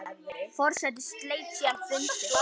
Forseti sleit síðan fundi.